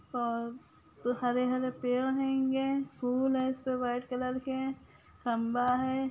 और हरे-हरे पेड़ हेंगे फूल हेय सो व्हाइट कलर के खम्बा है।